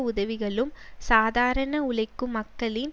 உதவிகளும் சாதாரண உழைக்கும் மக்களின்